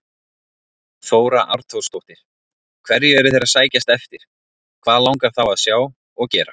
Þóra Arnórsdóttir: Hverju eru þeir að sækjast eftir, hvað langar þá að sjá og gera?